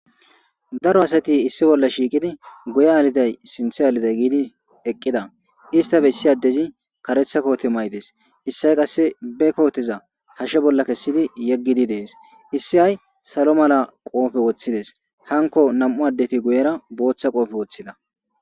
Daro asati issi bolla shiiqidi guye aliday sinthe aliday gidi eqida istappe issi adezi karetha kote mayides Issay qase be koteza hashe bolla kesidi yegidi des issay salo mala qofe Wothides hankko nam'u adeti guyera botha qofe wothida